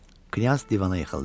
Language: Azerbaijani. Knyaz divana yıxıldı.